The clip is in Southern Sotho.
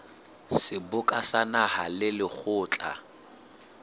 seboka sa naha le lekgotla